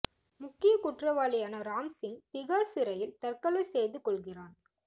முக்கிய குற்றவாளியான ராம் சிங் திகார் சிறையில் தற்கொலை செய்து கொல்கிறான்